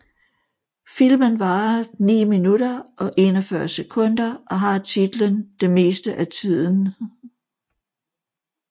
Filmen varer 9 minutter og 41 sekunder og har titlen Det meste af tiden